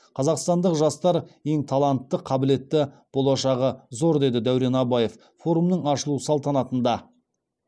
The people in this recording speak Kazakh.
қазақстандық жастар ең талантты қабілетті болашағы зор деді дәурен абаев форумның ашылу салтанатында